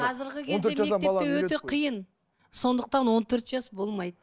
қазіргі кезде мектепте өте қиын сондықтан он төрт жас болмайды